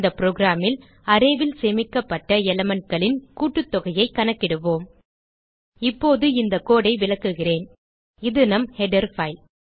இந்த programல் அரே ல் சேமிக்கப்பட்ட elementகளின் கூட்டுத்தொகையைக் கணக்கிடுவோம் இப்போது இந்த கோடு ஐ விளக்குகிறேன் இது நம் ஹெடர் பைல்